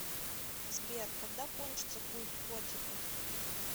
сбер когда кончится культ котиков